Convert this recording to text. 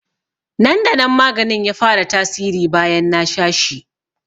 Nan da nan maganin ya fara tasiri bayan na sha shi